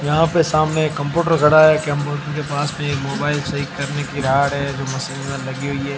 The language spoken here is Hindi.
यहां पर सामने एक कंप्यूटर खड़ा है कंप्यूटर के पास में मोबाइल सही करने की राड है जो मशीन में लगी हुई है।